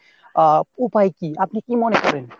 আহ উপায় কি? আপনি কি মনে করেন?